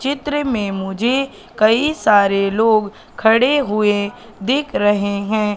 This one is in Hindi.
चित्र में मुझे कई सारे लोग खड़े हुए दीख रहे हैं।